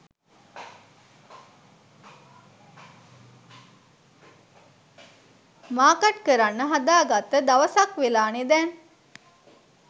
Market කරන්න හදාගත්ත දවසක් වෙලානෙ දැන්.